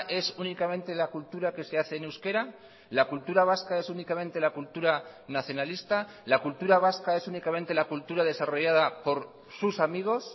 es únicamente la cultura que se hace en euskera la cultura vasca es únicamente la cultura nacionalista la cultura vasca es únicamente la cultura desarrollada por sus amigos